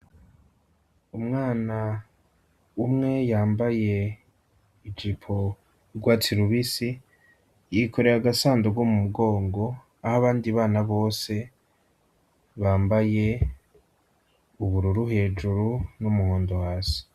Umwana umwe yambaye ijipo yurwatsi rubisi yikorera agasandugu mu mugongo aho abandi bana bose bambaye ubururu hejuru n'umuhondo hasi.